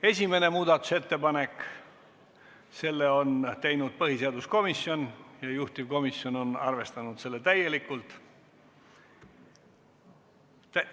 Esimese muudatusettepaneku on teinud põhiseaduskomisjon ja juhtivkomisjon on arvestanud seda täielikult.